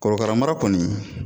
Korokara mara kɔni